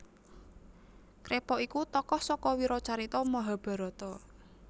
Krepa iku tokoh saka wiracarita Mahabharata